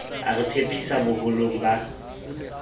a re phephisa boholong ba